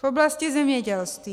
V oblasti zemědělství.